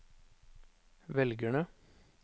velgerne